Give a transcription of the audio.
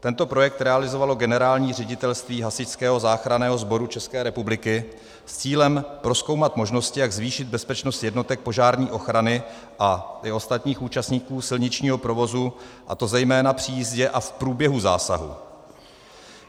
Tento projekt realizovalo Generální ředitelství Hasičského záchranného sboru České republiky s cílem prozkoumat možnosti, jak zvýšit bezpečnost jednotek požární ochrany a i ostatních účastníků silničního provozu, a to zejména při jízdě a v průběhu zásahu.